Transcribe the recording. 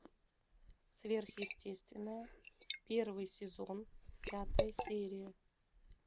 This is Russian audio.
сверхъестественное первый сезон пятая серия